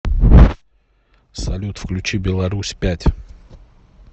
салют включи беларусь пять